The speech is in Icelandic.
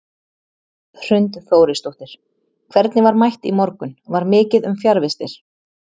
Hrund Þórisdóttir: Hvernig var mætt í morgun, var mikið um fjarvistir?